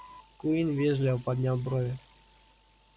куинн вежливо поднял брови